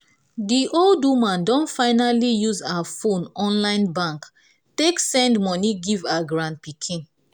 di old woman don finally use her phone online bank take send money give her granpikin